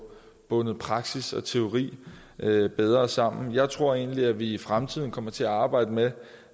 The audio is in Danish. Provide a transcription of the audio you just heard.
bundet praksis og teori bedre sammen jeg tror egentlig at vi i fremtiden kommer til at arbejde med